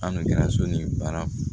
An kɛra so ni baara